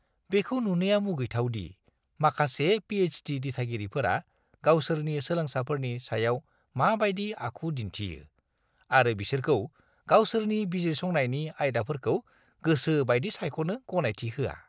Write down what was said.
बेखौ नुनाया मुगैथाव दि माखासे पि.एइच.डि. दिथागिरिफोरा गावसोरनि सोलोंसाफोरनि सायाव माबायदि आखु दिन्थियो आरो बिसोरखौ गावसोरनि बिजिरसंनायनि आयदाफोरखौ गोसोबायदि सायख'नो गनायथि होआ।